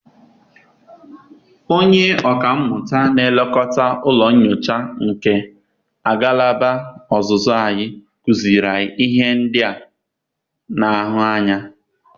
Onye ọka mmụta na-elekọta ụlọ nyocha nke agalaba ọzụzụ anyị kụziiri anyị ihe ndị a na-ahụ anya.